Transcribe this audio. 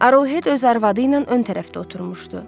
Arohed öz arvadı ilə ön tərəfdə oturmuşdu.